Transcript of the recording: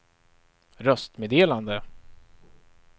röstmeddelande